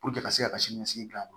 ka se ka sini ɲɛsigi gilan